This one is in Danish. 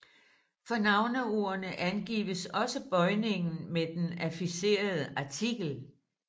For navneordene angives også bøjningen med den affixerede artikel